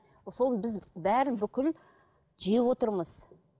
сол біз бәрін бүкіл жеп отырмыз